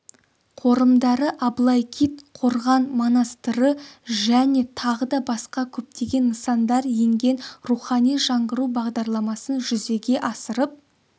қорымдары аблайкит қорған-монастыры және тағы да басқа көптеген нысандар енген рухани жаңғыру бағдарламасын жүзеге асырып